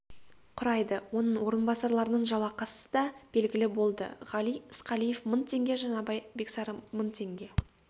құрайды оның орынбасарларының жалақысы да белгілі болды ғали ысқалиев мың теңге жаңабай бексары мың теңге